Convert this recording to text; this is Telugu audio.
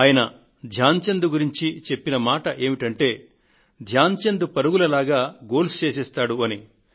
ఆయన ధ్యాన్ చంద్ గురించి చెప్పిన మాటలు ఏమిటంటే ధ్యాన్ చంద్ పరుగుల లాగా గోల్స్ చేసేస్తాడు అని